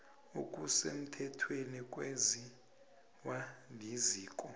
okusemthethweni kwenziwa liziko